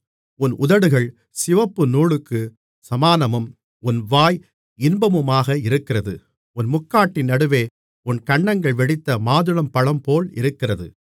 உன் உதடுகள் சிவப்பு நூலுக்குச் சமானமும் உன் வாய் இன்பமுமாக இருக்கிறது உன் முக்காட்டின் நடுவே உன் கன்னங்கள் வெடித்த மாதுளம்பழம்போல் இருக்கிறது